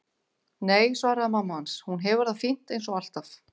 Nei, svaraði mamma hans, hún hefur það fínt eins og alltaf.